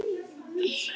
að ég var til.